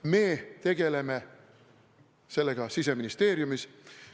Me tegeleme sellega Siseministeeriumis.